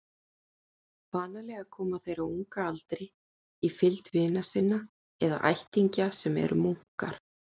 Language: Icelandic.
Vanalega koma þeir á unga aldri í fylgd vina sinna eða ættingja sem eru munkar.